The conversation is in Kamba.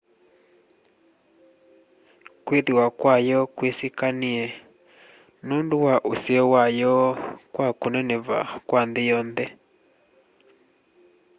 kwĩthĩwa kwayo kwĩsĩkanĩe nũndũ wa useo wayo kwa kũneneva kwa nthĩ yonthe